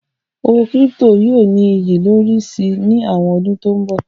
Owó kírípító yóò ní iyì lórí si ní àwọn ọdún tó ń bọ̀.